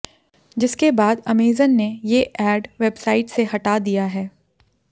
जिसके बाद अमेजन ने ये एड वेबसाइट से हटा दिया है